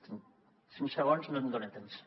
en cinc segons no em dona temps